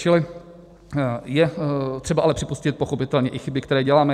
Čili je třeba ale připustit pochopitelně i chyby, které děláme.